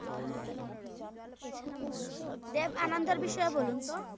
দেব আনন্দের বিষয়ে বলুন তো?